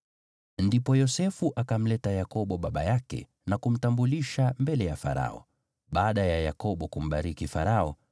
Ndipo Yosefu akamleta Yakobo baba yake na kumtambulisha mbele ya Farao. Baada ya Yakobo kumbariki Farao,